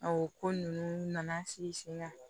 ko ninnu nana sigi sen kan